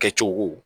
Kɛcogo